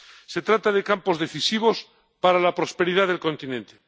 Se trata de campos decisivos para la prosperidad del continente.